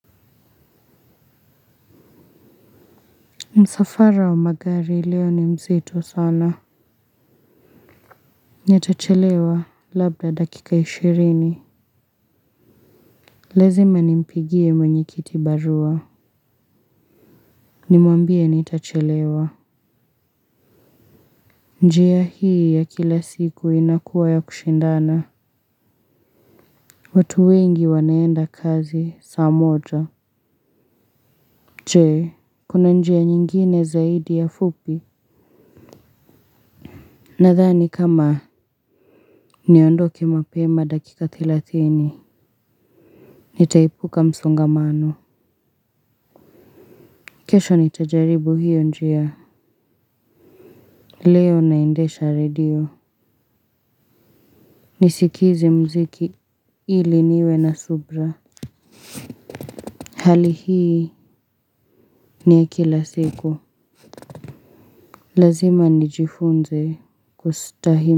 Msafara wa magari leo ni mzito sana. Nitachelewa labda dakika ishirini. Lazima nimpigie mwenye kitibarua. Nimwambie nitachelewa. Njia hii ya kila siku inakuwa ya kushindana. Watu wengi wanaenda kazi saa moja. Je, kuna njia nyingine zaidi ya fupi? Nadhani kama niondoke mapema dakika thelathini. Nitaepuka msongamano. Kesho nitajaribu hiyo njia. Leo naendesha redio. Nisikize muziki ili niwe na subira. Hali hii ni ya kila siku. Lazima nijifunze kustahimili.